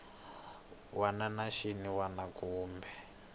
wana na xin wana kumbe